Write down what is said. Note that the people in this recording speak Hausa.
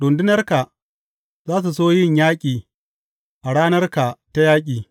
Rundunarka za su so yin yaƙi a ranarka ta yaƙi.